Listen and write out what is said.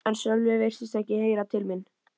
En Sölvi virtist ekki heyra til mín.